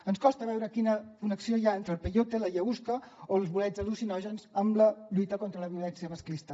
ens costa veure quina connexió hi ha entre el peyote l’ayahuasca o els bolets al·lucinògens amb la lluita contra la violència masclista